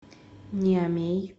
ниамей